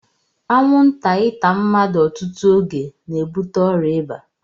Anwụnta ịta mmadụ ọtụtụ oge na-ebute ọrịa ịba